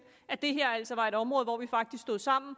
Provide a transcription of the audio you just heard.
at det her altså var et område hvor vi faktisk stod sammen